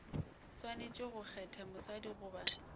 swanetše go kgetha mosadi goba